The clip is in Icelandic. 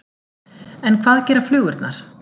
En hvað gera flugurnar?